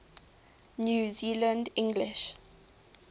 new zealand english